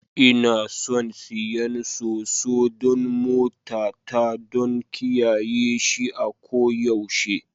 Ina son siyan Soso don motata. don kiyaye shi a koyaushe